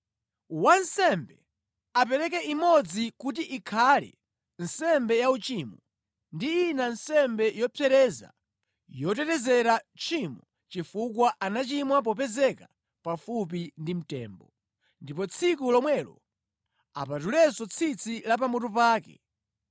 Wansembe apereke imodzi kuti ikhale nsembe yauchimo ndi ina nsembe yopsereza yotetezera tchimo chifukwa anachimwa popezeka pafupi ndi mtembo. Ndipo tsiku lomwelo apatulenso tsitsi la pamutu pake.